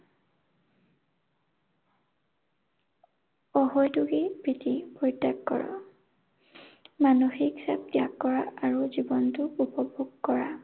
প্ৰীতি পৰিত্যাগ কৰা। মানসিক চাপ ত্যাগ কৰা আৰু জীৱনটোক উপভোগ কৰা।